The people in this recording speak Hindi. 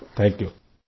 सिर थांक यू